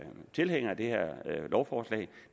tilhængere af det her lovforslag